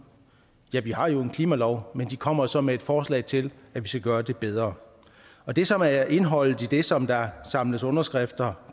ja vi har jo en klimalov men de kommer så med et forslag til at vi skal gøre det bedre og det som er indholdet i det som der samles underskrifter